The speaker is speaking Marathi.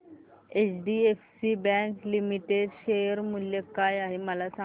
एचडीएफसी बँक लिमिटेड शेअर मूल्य काय आहे मला सांगा